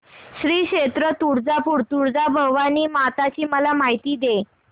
श्री क्षेत्र तुळजापूर तुळजाभवानी माता ची मला माहिती दे